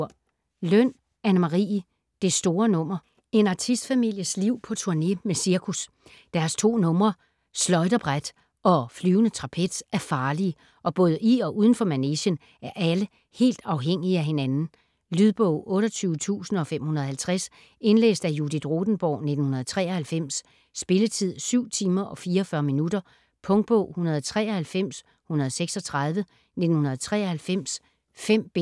Løn, Anne Marie: Det store nummer En artistfamilies liv på turne med cirkus. Deres to numre: schleuderbrett og flyvende trapez er farlige, og både i og udenfor manegen er alle helt afhængige af hinanden. Lydbog 28550 Indlæst af Judith Rothenborg, 1993. Spilletid: 7 timer, 44 minutter. Punktbog 193136 1993. 5 bind.